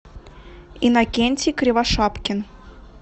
иннокентий кривошапкин